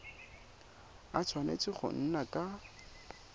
a tshwanetse go nna ka